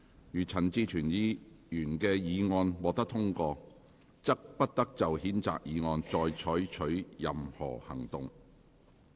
如陳志全議員的議案獲得通過，即不得就譴責議案再採取任何行動。